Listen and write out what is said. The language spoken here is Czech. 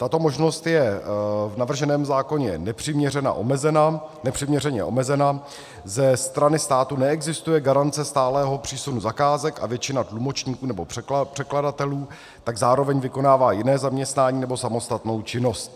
Tato možnost je v navrženém zákoně nepřiměřeně omezena, ze strany státu neexistuje garance stálého přísunu zakázek a většina tlumočníků nebo překladatelů tak zároveň vykonává jiné zaměstnání nebo samostatnou činnost.